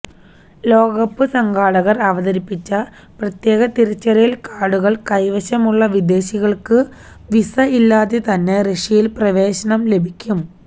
ലോകകപ്പ് സംഘാടകര് അവതരിപ്പിച്ച പ്രത്യേക തിരിച്ചറിയല് കാര്ഡുകള് കൈവശം ഉള്ള വിദേശികള്ക്കു വീസ ഇല്ലാതെ തന്നെ റഷ്യയില് പ്രവേശനം ലഭിക്കും